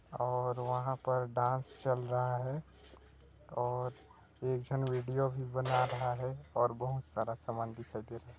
--और वहां पर डांस चल रहा है और एक झन वीडियो भी बना रहा है और बहुत सारा सामान दिखाई दे रहा है।